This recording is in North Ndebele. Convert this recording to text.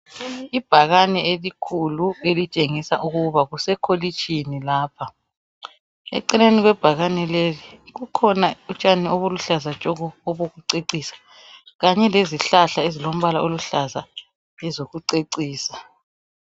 Ibhakane elikhulu elitshengisa ukuba kusekolitshini lapha .Eceleni kwe bhakane leli kukhona utshani obuluhlaza tshoko obokucecisa Kanye lezihlahla ezilombala oluhlaza ezokucecisa .